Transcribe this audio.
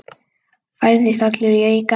Færðist allur í aukana.